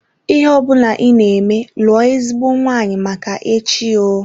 Ihe ọbụla ị na-eme lụọ ezigbo nwanyị Make echi oo.